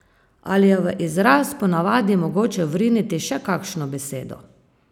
Ali je v izraz po navadi mogoče vriniti še katero besedo?